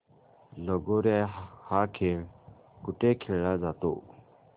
लगोर्या हा खेळ कुठे खेळला जातो